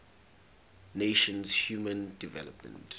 nations human development